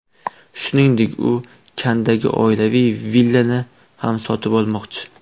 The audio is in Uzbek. Shuningdek, u Kanndagi oilaviy villani ham sotmoqchi.